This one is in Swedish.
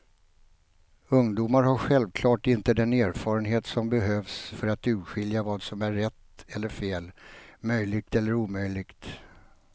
Ungdomar har självklart inte den erfarenhet som behövs för att urskilja vad som är rätt eller fel, möjligt eller omöjligt.